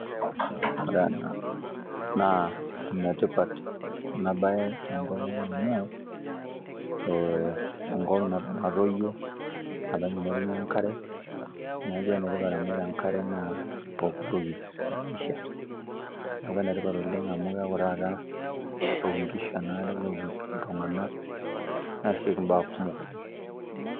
Ore ena naa enetipat ena baye tenkopang amu ee enkop natoyio naa penyo netumi enkare neeku enetipat amu ore enkare naa pookitoki temaisha. Neeku enetipat amu keeku taata keok inkishu enaare, neok iltunganak neasiki imbaa kumok oleng'.